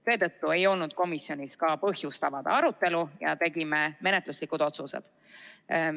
Seetõttu ei olnud komisjonis ka põhjust avada arutelu ja tegime menetluslikud otsused.